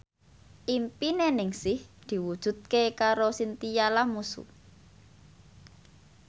impine Ningsih diwujudke karo Chintya Lamusu